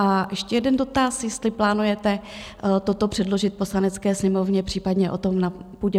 A ještě jeden dotaz, jestli plánujete toto přeložit Poslanecké sněmovně, případně o tom na půdě